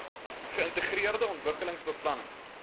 geïntegreerde ontwikkelings beplanning